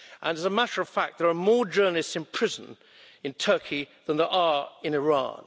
As a matter of fact, there are more journalists in prison in Turkey than there are in Iran.